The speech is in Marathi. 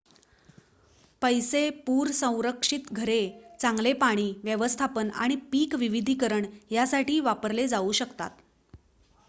पैसे पूर-संरक्षित घरे चांगले पाणी व्यवस्थापन आणि पीक विविधीकरण यासाठी वापरले जाऊ शकतात